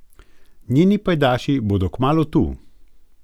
Njeni pajdaši bodo kmalu tu.